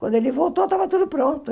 Quando ele voltou, estava tudo pronto.